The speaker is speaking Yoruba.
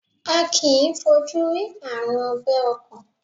A kìí fojú rí Ààrùn ọgbẹ́ ọkàn.